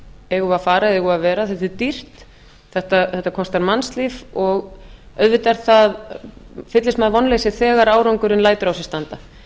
eigum við að fara eða eigum við að vera þetta er dýrt þetta kostar mannslíf og auðvitað fyllist maður vonleysi þegar árangurinn lætur á sér standa